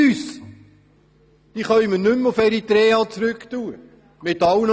Diese können wir – ungeachtet der Massnahmen – nicht mehr nach Eritrea zurückschicken.